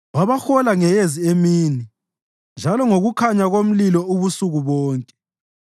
Wabahola ngeyezi emini njalo ngokukhanya komlilo ubusuku bonke.